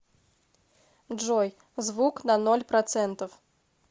джой звук на ноль процентов